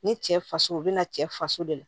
Ne cɛ faso u bɛna cɛ faso de la